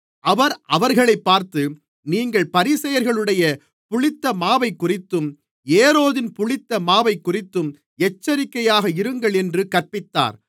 அவர் அவர்களைப் பார்த்து நீங்கள் பரிசேயர்களுடைய புளித்த மாவைக்குறித்தும் ஏரோதின் புளித்த மாவைக்குறித்தும் எச்சரிக்கையாக இருங்கள் என்று கற்பித்தார்